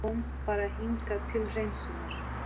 Hún kom bara hingað til hreinsunar!